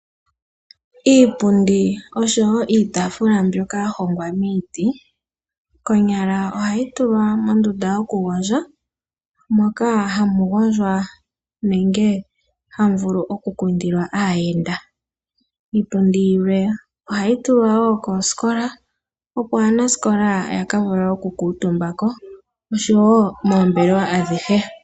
Iipundi oshowo iitaafula mbyoka yahongwa miiti konyala ohayi tulwa moondunda yokugondja moka hamu gondjwa nenge hamu vulu oku kundilwa aayenda. Iipundi yilwe ohayi tulwa koosikola opo wo aanasikola yakavule oku kuutumba ko noshowo moombelewa adhihe.